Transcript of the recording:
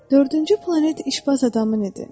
Dördüncü planet işbaz adamın idi.